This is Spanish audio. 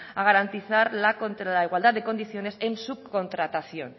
a garantizar la igualdad de condiciones en subcontratación